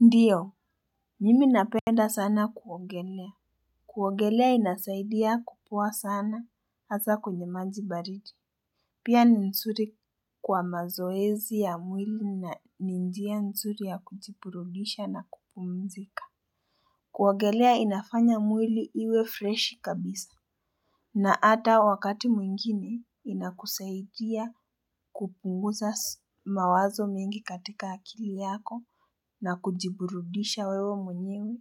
Ndiyo, mimi napenda sana kuogelea. Kuogelea inasaidia kukua sana hasa kwenye maji baridi. Pia ni nzuri kwa mazoezi ya mwili na ni njia nzuri ya kujiburudisha na kupumzika. Kuogelea inafanya mwili iwe freshi kabisa. Na hata wakati mwingine inakusaidia kupunguza mawazo mengi katika akili yako na kujiburudisha wewe mwenyewe.